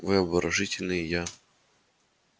вы обворожительны и я